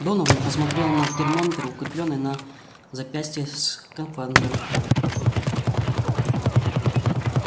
донован посмотрел на термометр укреплённый на запястье скафандра